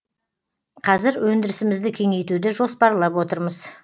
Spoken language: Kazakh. қазір өндірісімізді кеңейтуді жоспарлап отырмыз